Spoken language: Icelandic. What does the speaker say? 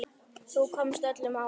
Þú komst öllum á óvart.